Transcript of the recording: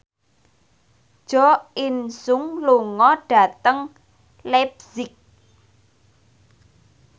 Jo In Sung lunga dhateng leipzig